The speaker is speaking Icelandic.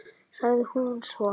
sagði hún svo.